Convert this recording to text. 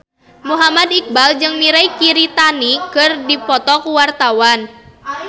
Muhammad Iqbal jeung Mirei Kiritani keur dipoto ku wartawan